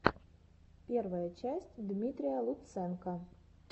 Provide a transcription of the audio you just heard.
первая часть дмитрия лутсенко